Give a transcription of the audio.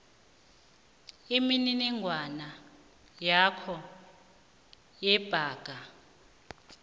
imininingwana yakho yebhanga